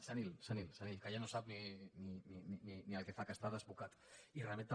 senil senil senil que ja no sap ni el que fa que està desbocat i remet també